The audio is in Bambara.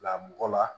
Bila mɔgɔ la